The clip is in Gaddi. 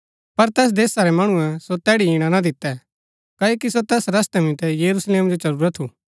पर तैस देशा रै मणुऐ सो तैड़ी इणा ना दितै क्ओकि सो तैस रस्तै मितै यरूशलेम जो चलुरा था